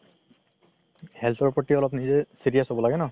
health ৰ প্ৰতি অলপ নিজে serious হ'ব লাগে ন